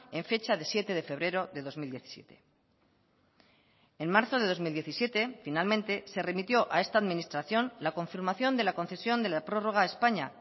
en fecha de siete de febrero de dos mil diecisiete en marzo de dos mil diecisiete finalmente se remitió a esta administración la confirmación de la concesión de la prórroga a españa